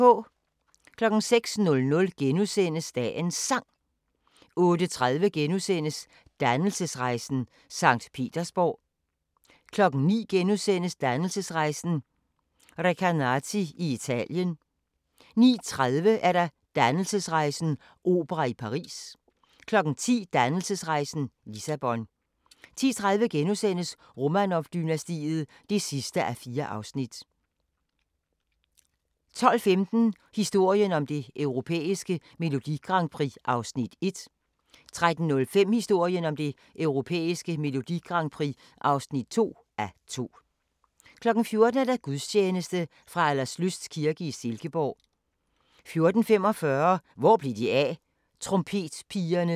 06:00: Dagens Sang * 08:30: Dannelsesrejsen – Sankt Petersborg * 09:00: Dannelsesrejsen – Recanati i Italien * 09:30: Dannelsesrejsen - opera i Paris 10:00: Dannelsesrejsen – Lissabon 10:30: Romanov-dynastiet (4:4)* 12:15: Historien om det europæiske Melodi Grand Prix (1:2) 13:05: Historien om det europæiske Melodi Grand Prix (2:2) 14:00: Gudstjeneste fra Alderslyst kirke i Silkeborg 14:45: Hvor blev de af? – Trompetpigerne